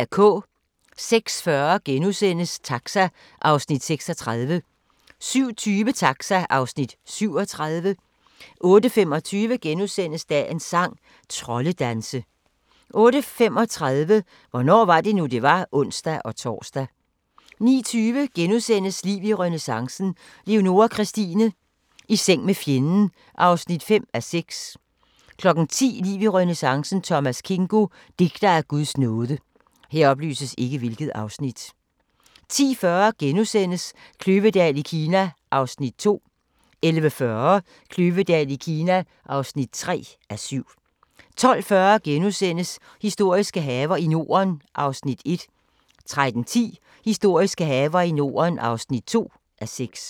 06:40: Taxa (Afs. 36)* 07:20: Taxa (Afs. 37) 08:25: Dagens sang: Troldedanse * 08:35: Hvornår var det nu, det var? (ons-tor) 09:20: Liv i renæssancen: Leonora Christina - i seng med fjenden (5:6)* 10:00: Liv i renæssancen: Thomas Kingo - digter af Guds nåde 10:40: Kløvedal i Kina (2:7)* 11:40: Kløvedal i Kina (3:7) 12:40: Historiske haver i Norden (1:6)* 13:10: Historiske haver i Norden (2:6)